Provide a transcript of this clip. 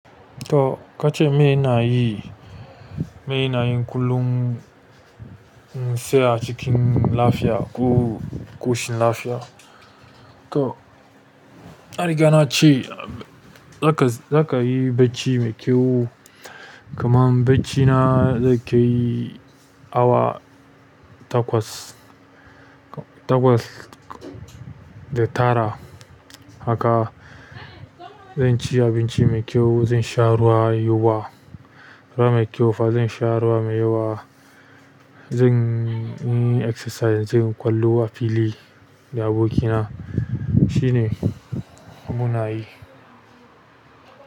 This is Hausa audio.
To kace me ina yi, me ina yi kullum in saya cikin lafiya ko ƙoshin lafiya. To, na riga na ci, za ka, za ka yi bacci mai kyau. Kaman bacci na zai kai awa takwas. Takwas da tara. Haka zan ci abinci mai kyau, zan sha ruwa yawa, ruwa mai kyau fa zan sha ruwa mai yawa. Zan yi exercise, zan ƙwallo a fili da abokina. Shi ne munayi.